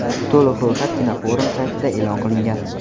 To‘liq ro‘yxat kinoforum saytida e’lon qilingan .